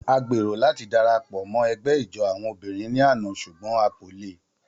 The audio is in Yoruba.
A gbero lati darapọ mọ ẹgbẹ ijó awọn obinrin ni ana ṣugbọn a ko le.